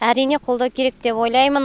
әрине қолдау керек деп ойлаймын